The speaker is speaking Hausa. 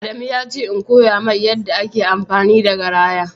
Adamu yace in koya mai yarɗa ake amfani da garaya